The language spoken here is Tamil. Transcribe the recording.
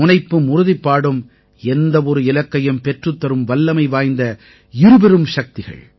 முனைப்பும் உறுதிப்பாடும் எந்த ஒரு இலக்கையும் பெற்றுத் தரும் வல்லமை வாய்ந்த இருபெரும் சக்திகள்